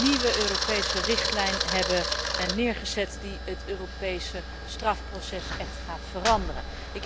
nieuwe Europese richtlijn hebben neergezet die het Europese strafproces echt gaat veranderen.